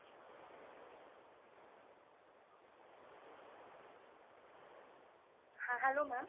ha hello Mam